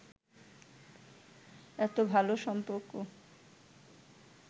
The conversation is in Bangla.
এতো ভালো সম্পর্ক